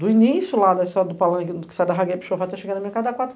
do início lá da estrada do palanque, que sai da Ragué-Pixô, até chegar na minha casa da quatro km.